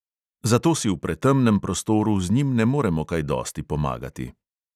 Zato si v pretemnem prostoru z njim ne moremo kaj dosti pomagati.